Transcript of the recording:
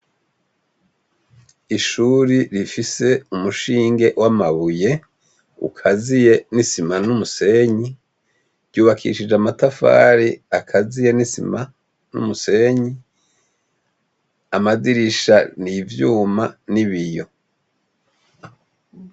Ishuri rifise umushinge w'amabuye ukaziye n'isima n'umusenyi ryubakishije amatafari akaziye n'isima n'umusenyi amadirisha ni ivyuma n'ibiyo.